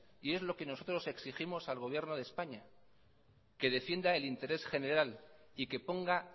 y es lo que nosotros exigimos al gobierno de españa que defienda el interés general y que ponga